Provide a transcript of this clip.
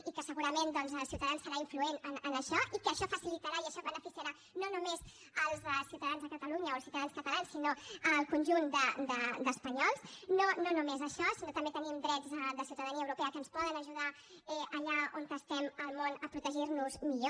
i que segurament ciutadans serà influent en això i que això facilitarà i això beneficiarà no només els ciutadans a catalunya o els ciutadans catalans sinó el conjunt d’espanyols no només això sinó que també tenim drets de ciutadania europea que ens poden ajudar allà on estem al món a protegir nos millor